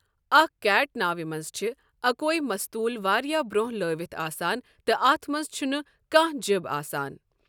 اکھ کیٹ ناوِ منٛز چھِ اکوے مستول واریٛاہ برٛونٛہہ لٲوِتھ آسان تہٕ اَتھ منٛز چُھنہٕ کانٛہہ جِب آسان۔